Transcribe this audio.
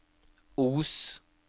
Os